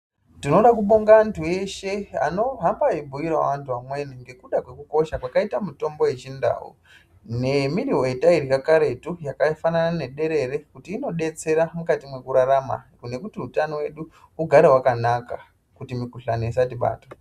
Tinoda kubonga vantu veshe vanoda kuhamba veibhuira vamweni ngekuda kukosha kwakaita mitombo yechindau nemuriwo yataibva kare imweni yakaita nederere nekuti imweni inodetsera kurarama nekuti hutano hwedu hugare yakanaka kuti mukuhlani usabatwa.